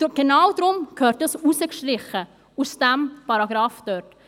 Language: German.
Genau deshalb gehört das aus diesem Paragrafen herausgestrichen.